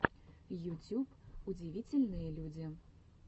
ютюб удивительные люди